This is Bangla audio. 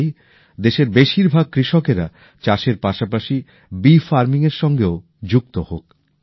আমি চাই দেশের বেশির ভাগ কৃষকেরা চাষের পাশাপাশি মৌচাকের মোমের সঙ্গেও যুক্ত হোন